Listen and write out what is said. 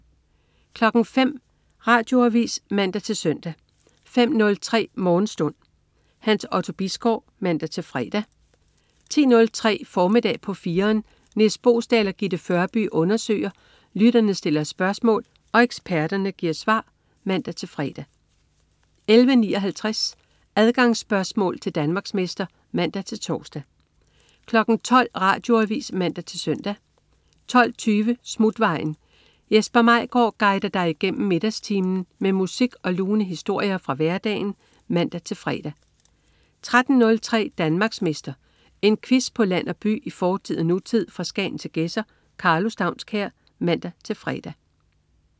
05.00 Radioavis (man-søn) 05.03 Morgenstund. Hans Otto Bisgaard (man-fre) 10.03 Formiddag på 4'eren. Nis Boesdal og Gitte Førby undersøger, lytterne stiller spørgsmål og eksperterne giver svar (man-fre) 11.59 Adgangsspørgsmål til Danmarksmester (man-tors) 12.00 Radioavis (man-søn) 12.20 Smutvejen. Jesper Maigaard guider dig igennem middagstimen med musik og lune historier fra hverdagen (man-fre) 13.03 Danmarksmester. En quiz på land og by, i fortid og nutid, fra Skagen til Gedser. Karlo Staunskær (man-fre)